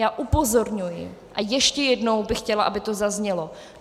Já upozorňuji, a ještě jednou bych chtěla, aby to zaznělo.